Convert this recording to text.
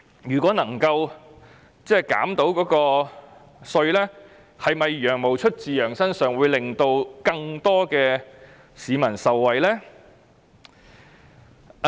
如果能夠獲得寬減，"羊毛出自羊身上"可能令更多市民受惠。